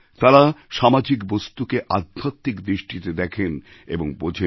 তাঁরা সামাজিক বস্তুকে আধ্যাত্মিক দৃষ্টিতে দেখেন এবং বোঝেন